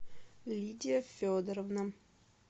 лидия федоровна